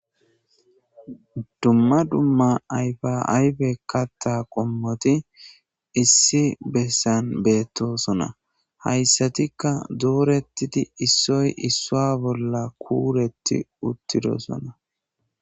dumma dumma ayfa ayfe katta qommoti issi bessan beettosona hayssatikka dooretidi issoy issoa bolla kuuretti uttidosona